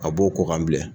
A b'o ko kan bilen